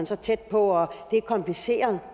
så tæt på og det er kompliceret